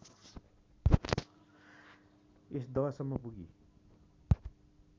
यस दहसम्म पुगी